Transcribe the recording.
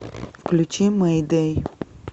включи мэйдэй